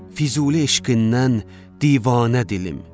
Füzuli eşqindən divanə dilim.